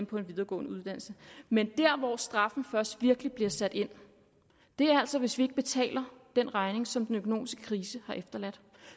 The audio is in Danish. på en videregående uddannelse men der hvor straffen først virkelig bliver sat ind er altså hvis vi ikke betaler den regning som den økonomiske krise har efterladt